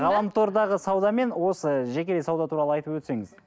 ғаламтордағы сауда мен осы жеке де сауда туралы айтып өтсеңіз